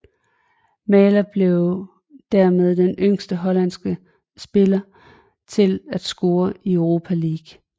Maher blev dermed den yngste hollandske spiller til at score i Europa League